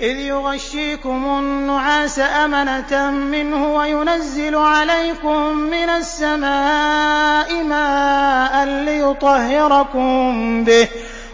إِذْ يُغَشِّيكُمُ النُّعَاسَ أَمَنَةً مِّنْهُ وَيُنَزِّلُ عَلَيْكُم مِّنَ السَّمَاءِ مَاءً لِّيُطَهِّرَكُم بِهِ